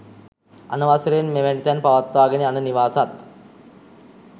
අනවසරයෙන් මෙවැනි තැන් පවත්වාගෙන යන නිවාසත්